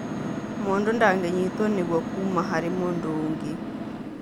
Mũndũ ndangĩnyitwo nĩguo kuma harĩ mũndũ ũngĩ